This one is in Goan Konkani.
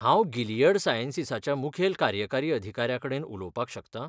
हांव गिलियड सायंसीसाच्या मुखेल कार्यकारी अधिकाऱ्याकडेन उलोवपाक शकतां?